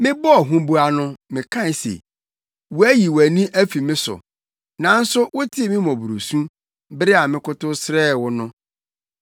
Mebɔɔ huboa no mekae se: “Woayi wʼani afi me so!” Nanso wotee me mmɔborɔsu bere a mekotow srɛɛ wo no.